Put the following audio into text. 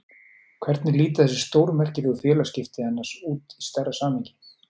Hvernig líta þessi stórmerkilegu félagsskipti annars út í stærra samhengi?